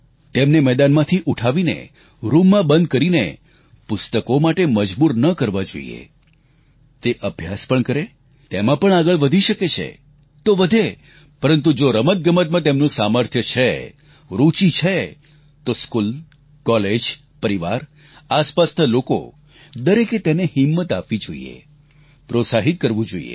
તેમને મેદાનમાંથી ઉઠાવીને રૂમમાં બંધ કરીને પુસ્તકો માટે મજબૂર ન કરવા જોઈએ તે અભ્યાસ પણ કરે તેમાં પણ આગળ વધી શકે છે તો વધે પરંતુ જો રમતગમતમાં તેનું સામર્થ્ય છે રુચિ છે તો સ્કૂલ કોલેજ પરિવાર આસપાસના લોકો દરેકે તેને હિંમત આપવી જોઈએ પ્રોત્સાહિત કરવું જોઈએ